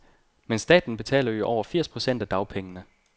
Men staten betaler jo over firs procent af dagpengene.